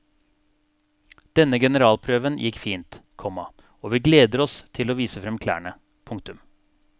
Denne generalprøven gikk fint, komma og vi gleder oss til å vise fram klærne. punktum